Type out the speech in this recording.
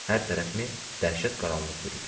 Hər tərəfimi dəhşət qaranlıq bürüdü.